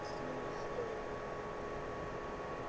Mun skilja.